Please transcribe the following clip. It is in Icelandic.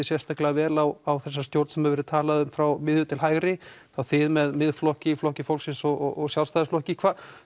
sérstaklega vel á þessa stjórn sem hefur verið talað um frá miðju til hægri þið með Miðflokki Flokki fólksins og Sjálfstæðisflokki